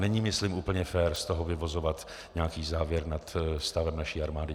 Není myslím úplně fér z toho vyvozovat nějaký závěr nad stavem naší armády.